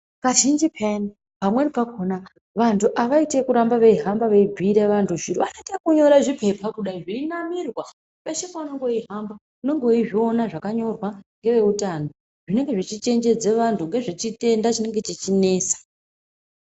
Kazhinji peyani pamweni pakhona vantu awaiti ekuramba weihamba weibhuyira vantu zviro wanoita ekunyora zvipepa kudai, zveinamirwa peshe pounenge weihamba unenge weizviona zvakanyorwa ngeweutano zvinenge zvichichenjedze vanhu ngezvechitenda chinenge cheinesa.